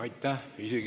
Aitäh!